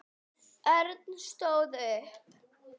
Örn stóð upp.